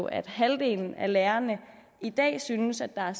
at halvdelen af lærerne i dag synes at der